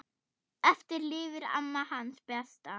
Eftir lifir amma, hans besta.